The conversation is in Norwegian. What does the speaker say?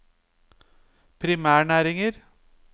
primærnæringer